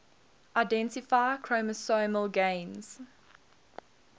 identify chromosomal gains